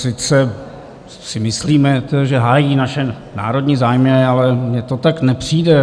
Sice si myslíme, že hájí naše národní zájmy, ale mně to tak nepřijde.